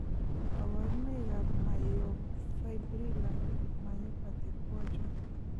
Kaborunoik ab myofibrillar myopathy koa chon?